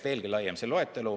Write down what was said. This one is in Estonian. Veelgi laiem oleks see loetelu.